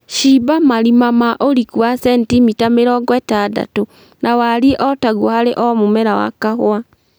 Cimba marima ma ũriku wa sentimita mĩrongo ĩtandatũ na warie o taguo harĩ o mũmera wa kahũa